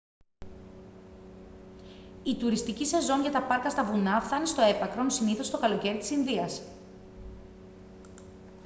η τουριστική σεζόν για τα πάρκα στα βουνά φθάνει στο έπακρον συνήθως το καλοκαίρι της ινδίας